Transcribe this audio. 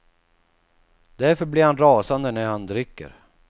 Därför blir han rasande när han dricker.